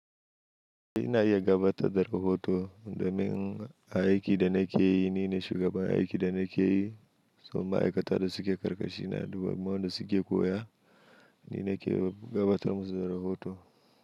Ina iya gabatar da rahoto domin aiki da nake yi, ni ne shugaban aiki da nake yi, kuma ma'aikata da suke ƙarƙashina, dubanmu da suke koya ni nake gabatar musu da rahoto.